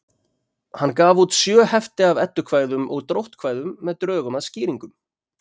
hann gaf út sjö hefti af eddukvæðum og dróttkvæðum með drögum að skýringum